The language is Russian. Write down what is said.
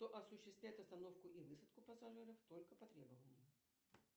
кто осуществляет остановку и высадку пассажиров только по требованию